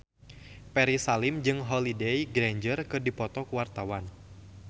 Ferry Salim jeung Holliday Grainger keur dipoto ku wartawan